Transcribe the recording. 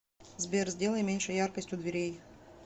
сбер сделай меньше яркость у дверей